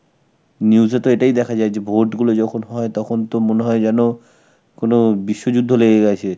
news এ তো এটাই দেখা যায় যে vote গুলো যখন হয়, তখন তো মনে হয় যেন কোনো বিশ্বযুদ্ধ লেগে গেছে.